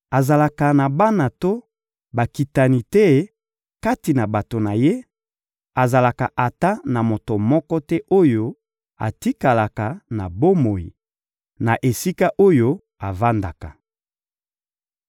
Azalaka na bana to bakitani te kati na bato na ye, azalaka ata na moto moko te oyo atikala na bomoi, na esika oyo avandaka.